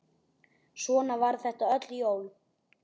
Svona var þetta öll jól.